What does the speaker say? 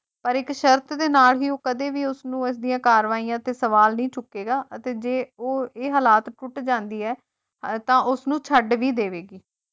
ਪਰ ਇੱਕ ਸ਼ਰਤ ਤੇ ਨਾ ਹੀ ਉਹ ਕਦੇ ਵੀ ਉਸਨੂੰ ਇਸ ਦੀਆਂ ਕਾਰਵਾਈਆਂ ਤੇ ਸਵਾਲ ਨਹੀਂ ਚੁੱਕੇਗਾ ਅਤੇ ਜੋ ਉਹ ਇਹ ਹਾਲਾਤ ਟੁੱਟ ਜਾਂਦੀ ਐ ਤਾਂ ਉਸਨੂੰ ਛੱਡ ਵੀ ਦੇਵੇਗੀ